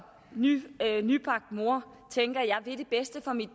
nybagt mor tænker jeg vil det bedste for mit